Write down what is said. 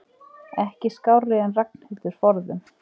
Ekki skárri en Ragnhildur forðum.